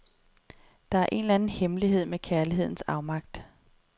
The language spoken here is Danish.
Der er en eller anden hemmelighed med kærlighedens afmagt.